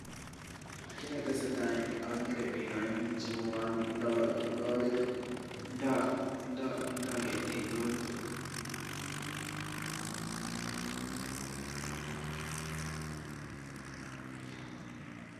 Kiit neteseta en yuu okere biik oeng cheuon ndoo loriit ndo ketik loriit.